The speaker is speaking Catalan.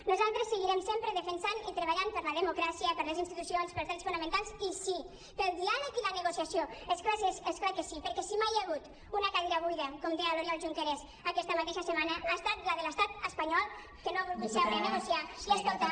nosaltres seguirem sempre defensant i treballant per la democràcia per les institucions pels drets fonamentals i sí pel diàleg i la negociació és clar que sí perquè si mai hi ha hagut una cadira buida com deia l’oriol junqueras aquesta mateixa setmana ha estat la de l’estat espanyol que no ha volgut seure a negociar i a escoltar